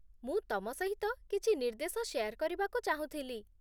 ମୁଁ ତମ ସହିତ କିଛି ନିର୍ଦ୍ଦେଶ ଶେୟାର କରିବାକୁ ଚାହୁଁଥିଲି